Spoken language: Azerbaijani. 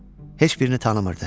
Heç birini tanımırdı.